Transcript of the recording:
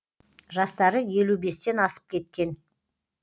жастары елу бестен асып кеткен